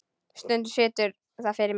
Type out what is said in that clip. Stundum situr það fyrir mér.